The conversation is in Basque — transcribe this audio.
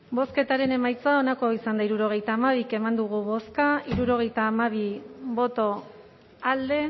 bozketaren emaitza onako izan da hirurogeita hamabi eman dugu bozka hirurogeita hamabi boto alde